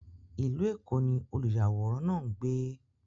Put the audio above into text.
Ilú Ékó ni òlúyàwòràn náà ngbé.